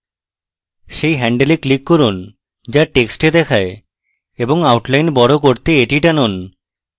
সেই হ্যান্ডেলে click করুন যা টেক্সটে দেখায় এবং outline বড় করতে এটি টানুন